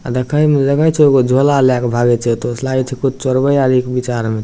आ देखे मे लगे छै एगो झोला ले के भागे छै एते से लागे छै कुछो चोर बे आरो के विचार मे --